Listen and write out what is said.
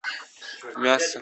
мясо